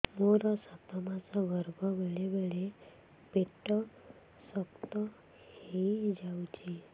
ମୋର ସାତ ମାସ ଗର୍ଭ ବେଳେ ବେଳେ ପେଟ ଶକ୍ତ ହେଇଯାଉଛି